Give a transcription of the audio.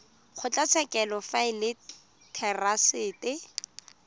kgotlatshekelo fa e le therasete